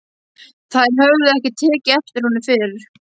Þær höfðu ekki tekið eftir honum fyrr.